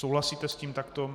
Souhlasíte s tím takto?